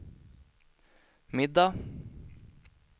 middag